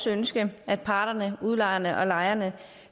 ønske at parterne udlejerne og lejerne